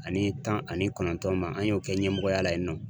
Ani tan ani kɔnɔntɔn ma an y'o kɛ ɲɛmɔgɔya la yen nɔ.